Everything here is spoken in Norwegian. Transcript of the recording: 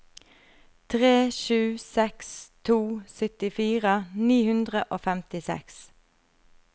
tre sju seks to syttifire ni hundre og femtiseks